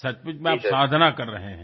सचमुच में आप साधना कर रहे हैं